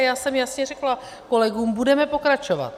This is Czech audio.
A já jsem jasně řekla kolegům, budeme pokračovat.